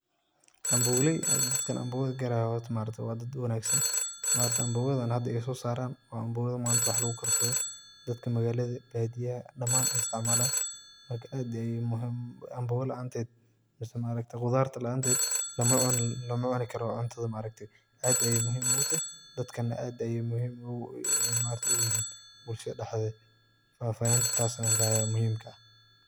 Ambogaleey hada dadkan ambogada gadayo wa dad wanagsan maaragte ambogadan ay hada sosaran wa ambogada manta wax lugukarsado dadka magalada, badiyaha dhamaan ey istacmalan marka aad ayey amboga laanted mise maaragte qudarta laanted lamacunikaro cuntada maaragte aad ayey muhiim ogutahay dadkana aad ayey muhiim oguyihin bulshada dhededa, fafahintas ayan kahaya muhiimka ah.